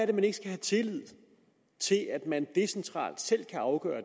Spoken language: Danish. man ikke have tillid til at at de decentralt selv kan afgøre